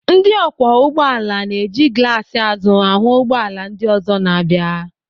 Ndị ọkwọ ụgbọala na-eji glaas azụ ahụ ụgbọala ndị ọzọ na-abịa.